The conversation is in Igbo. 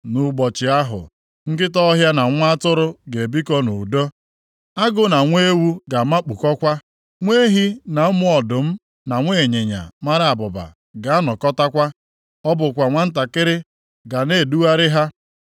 Nʼụbọchị ahụ, nkịta ọhịa na nwa atụrụ ga-ebikọ nʼudo; agụ na nwa ewu ga-amakpukọkwa. Nwa ehi na ụmụ ọdụm na nwa ịnyịnya mara abụba ga-anọkọtakwa, ọ bụkwa nwantakịrị ga na-edugharị ha.